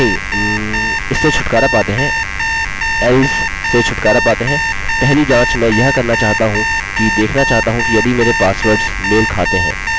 अन्यथा यूज़र को एको करें your passwords do not match ठीक है